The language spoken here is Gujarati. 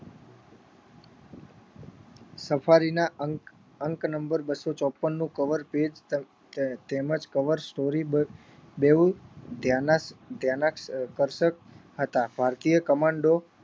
સફારીના અંક અંક number બસ્સો ચોપ્પનનું cover page તેમજ cover story બે બેઉ ધ્યાના ધ્યાનાકર્ષક હતા ભારતીય commando